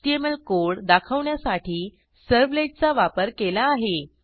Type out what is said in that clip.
HTML code दाखवण्यासाठी सर्व्हलेटचा वापर केला आहे